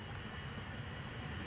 Qalxır, yavaş-yavaş qalxır.